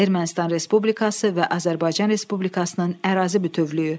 Ermənistan Respublikası və Azərbaycan Respublikasının ərazi bütövlüyü.